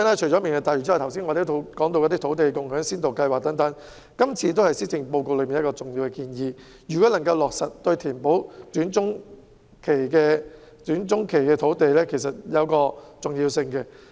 除了"明日大嶼"外，我們亦曾討論先導計劃，而這亦是施政報告的重要建議。如果能夠落實，對於填補短中期土地供應亦會有一定的重要性。